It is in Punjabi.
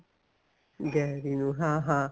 ਗੈਰੀ ਨੂੰ ਹਾਂ ਹਾਂ